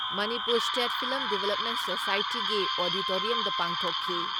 Manipur state film development ꯁꯣꯁꯥꯏꯇꯤꯒꯤ ꯑꯣꯗꯤꯇꯣꯔꯤꯌꯝꯗ ꯄꯥꯡꯊꯣꯛꯈꯤ ꯫